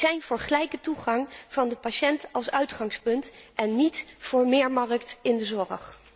Wij zijn voor gelijke toegang van de patiënt als uitgangspunt en niet voor meer markt in de zorg.